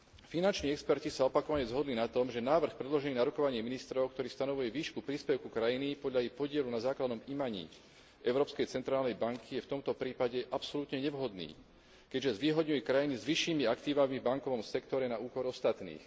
Finanční experti sa opakovane zhodli na tom, že návrh predložený na rokovaní ministrov, ktorý stanovuje výšku príspevku krajiny podľa jej podielu na základnom imaní Európskej centrálnej banky, je v tomto prípade absolútne nevhodný, keďže zvýhodňuje krajiny s vyššími aktívami v bankovom sektore na úkor ostatných.